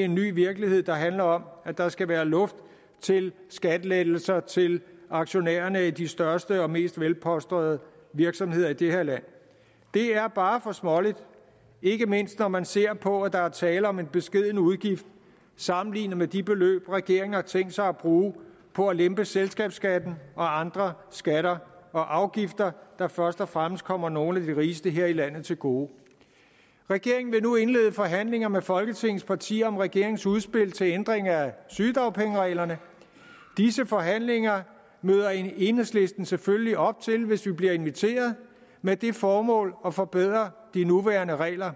en ny virkelighed der handler om at der skal være luft til skattelettelser til aktionærerne i de største og mest velpolstrede virksomheder i det her land det er bare for småligt ikke mindst når man ser på at der er tale om en beskeden udgift sammenlignet med de beløb regeringen har tænkt sig at bruge på at lempe selskabsskatten og andre skatter og afgifter der først og fremmest kommer nogle af de rigeste her i landet til gode regeringen vil nu indlede forhandlinger med folketingets partier om regeringens udspil til ændring af sygedagpengereglerne disse forhandlinger møder enhedslisten selvfølgelig op til hvis vi bliver inviteret med det formål at forbedre de nuværende regler